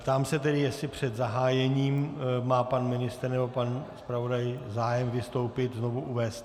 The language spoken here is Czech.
Ptám se tedy, jestli před zahájením má pan ministr nebo pan zpravodaj zájem vystoupit, znovu uvést.